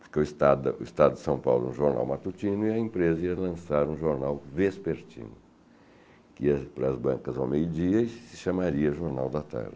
Porque o Estado Estado de São Paulo era um jornal matutino e a empresa ia lançar um jornal vespertino, que ia para as bancas ao meio-dia e se chamaria Jornal da Tarde.